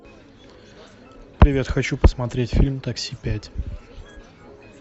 привет хочу посмотреть фильм такси пять